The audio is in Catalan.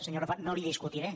senyor arrufat no li ho discutiré